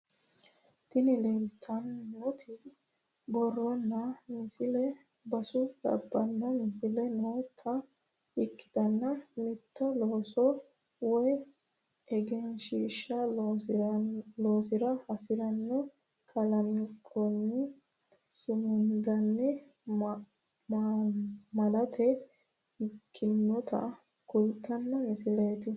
Tini leeltannoti borronna misile basu labbanno misile noota ikkitanna mitto looso woy egensiishsha loonsara hasi'ne kalanqoonni sumudanna malaate ikkinota kultanno misileeti.